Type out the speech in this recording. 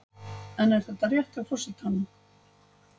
En er þetta rétt hjá forsetanum?